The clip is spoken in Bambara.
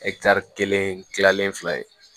kelen kilalen fila ye